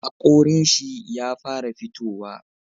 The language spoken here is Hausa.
Hakorin shi ya fara fitowa